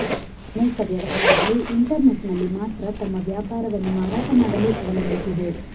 ಅನೇಕ ವ್ಯವಹಾರಗಳು ಇಂಟರ್ನೆಟ್ನಲ್ಲಿ ಮಾತ್ರ ತಮ್ಮ ವ್ಯಾಪಾರವನ್ನು ಮಾರಾಟ ಮಾಡಲು ಅವಲಂಬಿಸಿವೆ